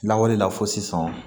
Lawale la fɔ sisan